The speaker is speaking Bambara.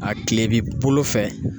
A kile b'i bolo fɛ.